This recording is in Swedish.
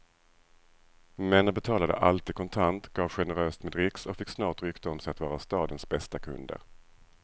Männen betalade alltid kontant, gav generöst med dricks och fick snart rykte om sig att vara stadens bästa kunder.